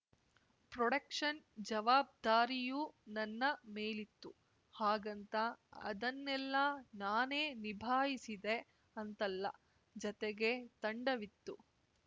production ಜವಾಬ್ದಾರಿಯೂ ನನ್ನ ಮೇಲಿತ್ತು ಹಾಗಂತ ಅದನ್ನೆಲ್ಲ ನಾನೇ ನಿಭಾಯಿಸಿದೆ ಅಂತಲ್ಲ ಜತೆಗೆ ತಂಡವಿತ್ತು